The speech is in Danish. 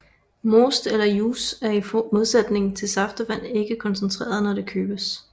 Most eller juice er i modsætning til saftevand ikke koncentreret når det købes